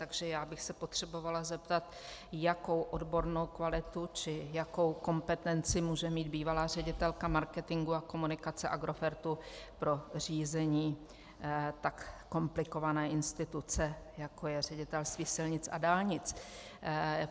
Takže já bych se potřebovala zeptat, jakou odbornou kvalitu či jakou kompetenci může mít bývalá ředitelka marketingu a komunikace Agrofertu pro řízení tak komplikované instituce, jako je Ředitelství silnic a dálnic.